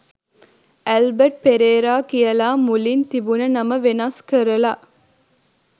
Albert Perera කියලා මුලින් තිබුණ නම වෙනස් කරලා